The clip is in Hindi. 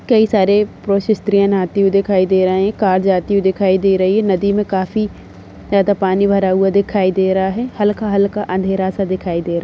कई सारे पुरुष स्त्री नहाते हुए दिखाई दे रहे हैं। कार जाते हुई दिखाई दे रही है। नदी मे काफी ज्यादा पानी भरा हुआ दिखाई दे रहा है। हल्का-हल्का अंधेरा सा दिखाई दे --